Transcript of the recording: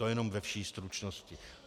To jenom ve vší stručnosti.